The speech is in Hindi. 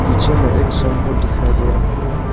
नीचे में एक साइन बोर्ड दिखाई दे रहा है।